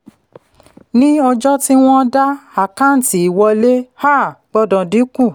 ní ọjọ́ tí wọ́n daá àkáǹtí ìwọlé um gbọ́dọ̀ dínkù.